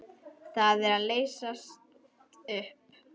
Það er að leysast upp.